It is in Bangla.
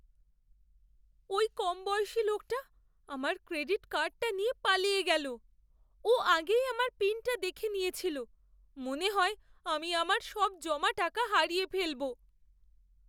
ওই কমবয়সী লোকটা আমার ক্রেডিট কার্ডটা নিয়ে পালিয়ে গেল। ও আগেই আমার পিনটা দেখে নিয়েছিল। মনে হয় আমি আমার সব জমা টাকা হারিয়ে ফেলব।